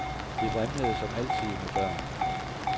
Det vrimlede som altid med børn.